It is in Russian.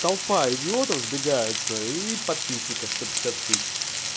толпа идиотов сбегается и подписчиков сто пятьдесят тысяч